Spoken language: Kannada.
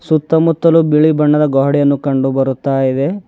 ಸುತ್ತಮುತ್ತಲು ಬಿಳಿ ಬಣ್ಣದ ಗ್ವಾಡೆಯನ್ನು ಕಂಡು ಬರುತ್ತಾ ಇದೆ.